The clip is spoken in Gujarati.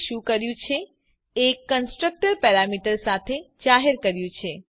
તો આપણે શું કર્યું છે એક કન્સ્ટ્રક્ટર પેરામીટર્સ સાથે જાહેર કર્યું છે